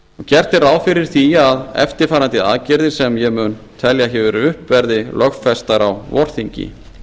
gert er ráð fyrir því að eftirfarandi aðgerðir sem ég mun telja hér upp verði lögfestar á vorþingi